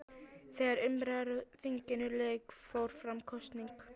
Þegar umræðum á þinginu lauk fór fram kosning.